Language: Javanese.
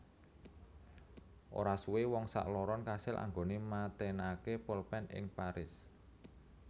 Ora suwe wong sakloron kasil anggone matenake polpen ing Paris